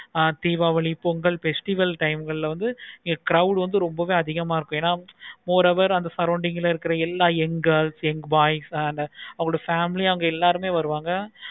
ஆஹ் diwali, pongal festival time ல வந்து இங்க வந்து crowd வந்து ரொம்ப அதிகமா இருக்கு. moreover அந்த surrounding ல இருக்க எல்லா young girls, young boys, family ah எல்லாருமே வருவாங்க